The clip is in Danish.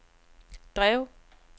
drev